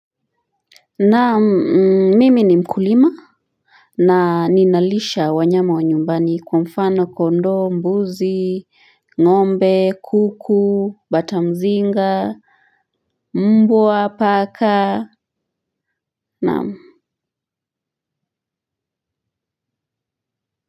Na mimi ni mkulima. Na ninalisha wanyama wa nyumbani kwa mfano kondoo mbuzi ngombe kuku batamzinga mbwa paka naam.